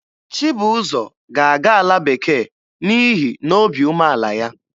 Chibụzọ ga-aga ala bekee n'ihi na obi umeala ya.